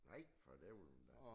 Nej for dælen da